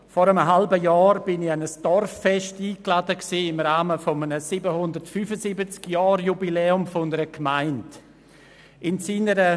Vor einem halben Jahr war ich im Rahmen eines 775-Jahr-Jubiläums einer Gemeinde an ein Dorffest eingeladen.